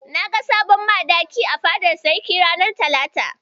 Na ga sabon Madaki a fadar Sarki ranar talata.